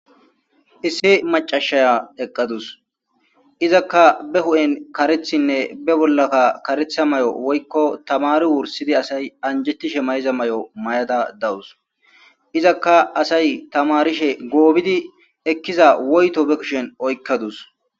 Issi macashaya eqqadus izakka be hu'en karethinne be bollaka karetha may'o woykko tamari wursidi asay anjettishe mayza may'o may'ada dawus izakka asay tamarishe goobidi ekkiza woyto be kushen oykkadus.